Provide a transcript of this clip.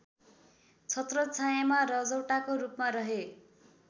छत्रछायाँमा रजौटाको रूपमा रहे